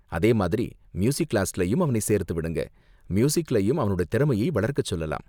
அதே மாதிரி, மியூசிக் கிளாஸ்லயும் அவனை சேர்த்துவிடுங்க, மியூசிக்லயும் அவனோட திறமையை வளர்க்க சொல்லலாம்.